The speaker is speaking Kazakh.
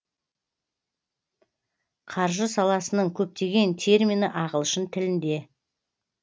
қаржы саласының көптеген термині ағылшын тілінде